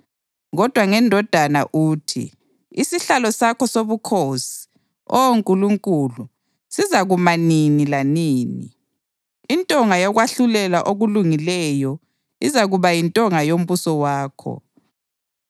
Kodwa ngeNdodana uthi, “Isihlalo sakho sobukhosi, Oh Nkulunkulu, sizakuma nini lanini, intonga yokwahlulela okulungileyo izakuba yintonga yombuso wakho.